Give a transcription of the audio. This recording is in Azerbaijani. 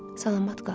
Salamat qal.